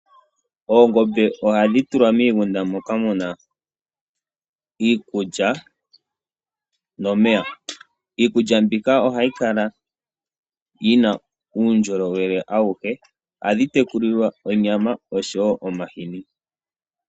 Oongombe ohadhi tulwa miigunda moka muna iikulya nomeya. Iikulya mbika ohayi kala yi na uundjolowele. Ohadhi tekulilwa onyama osho wo omahini.